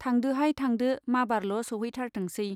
थांदोहाय थांदो माबारल' सौहैथारथोंसै।